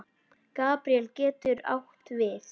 Gabríel getur átt við